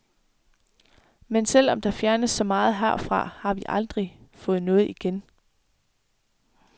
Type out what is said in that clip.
Men selv om der fjernes så meget herfra, har vi aldrig fået noget igen.